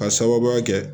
K'a sababuya kɛ